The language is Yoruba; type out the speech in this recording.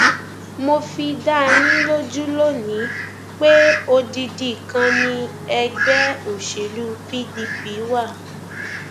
mo fi dá yín lójú lónìín pé odidi kan ni ẹgbẹ òṣèlú pdp wà